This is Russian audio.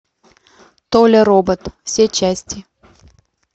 толя робот все части